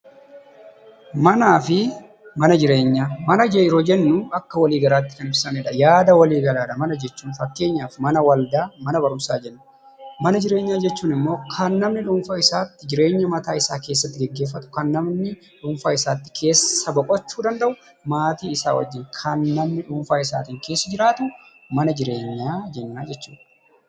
Mana jireenyaa. Mana jireenyaa jechuun maqaa walii galaa jechuu yammuu ta'u fakkeenyaaf; mana amantaa, mana barumsaa. Mama jireenyaa jechuun kan namni dhuunfaa tokko keessatti jireenya isaa gaggeeffatuu dha. Kunis kan namni maatii isaa ijoollee waliin jiraatuu dha.